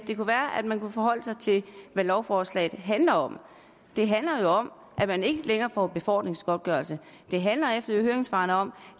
det kunne være at man kunne forholde sig til hvad lovforslaget handler om det handler om at man ikke længere får befordringsgodtgørelse det handler ifølge høringssvarene om